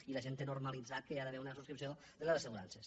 i la gent té normalitzat que hi ha d’haver una subscripció de les assegurances